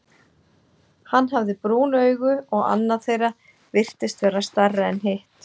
Hann hafði brún augu, og annað þeirra virtist vera stærra en hitt.